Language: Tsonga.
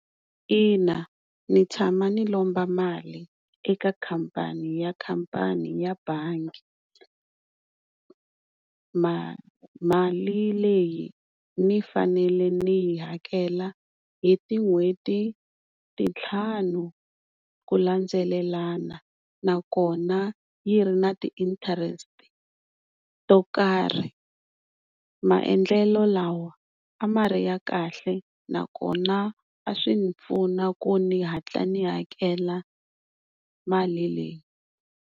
Ina, ndzi tshame ni lomba mali eka khampani ya khampani ya bangi, mali mali leyi ni fanele ni yi hakela hi tin'hweti titlhanu ku landzelelana nakona yi ri ni ti-interest to karhi, maendlelo lawa a ma ri ya kahle nakona a swi ni pfuna ku ni hatla ni hakela mali leyi.